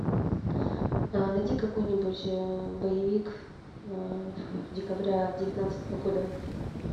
найди какой нибудь боевик декабря девятнадцатого года